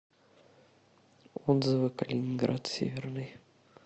отзывы калининград северный